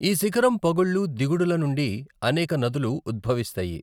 ఈ శిఖరం పగుళ్లు, దిగుడుల నుండి అనేక నదులు ఉద్భవిస్తాయి.